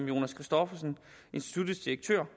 jonas christoffersen instituttets direktør